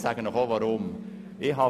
Ich erkläre Ihnen auch gleich, weshalb.